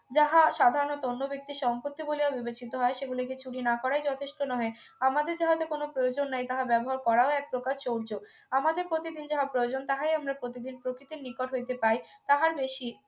যাহা সাধারণত অন্য ব্যক্তির সম্পত্তি বলিয়া বিবেচিত হয় সেগুলিকে চুরি না করাই যথেষ্ট নহে আমাদের যাহাতে কোনো প্রয়োজন নাই তাহা ব্যবহার করাও একপ্রকার চর্য আমাদের প্রতিদিন যাহা প্রয়োজন তাহাই আমরা প্রতিদিন প্রকৃতির নিকট হইতে পাই তাহার বেশি